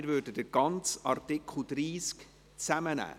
Wir nehmen den ganzen Artikel 30 Absatz 3 zusammen.